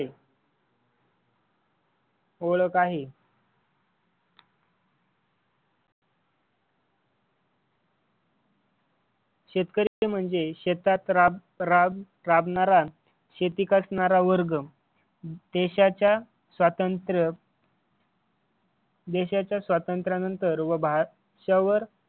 शेतकरी म्हणजे शेतात राब राब राबणारा शेती करणारा वर्ग देशाच्या स्वातंत्र्य देशाच्या स्वातंत्र्यानंतर व